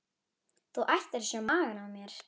Þú ættir að sjá magann á mér.